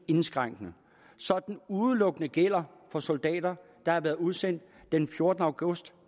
indskrænkende så den udelukkende gælder for soldater der har været udsendt den fjortende august